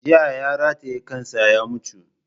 Jiya ya rataye kansa ya mutu